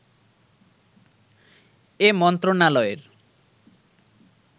এ মন্ত্রণালয়ের